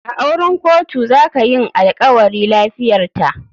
A auren kotu zaka yinalkawari. lafiyarta.